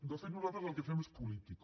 de fet nosaltres el que fem és política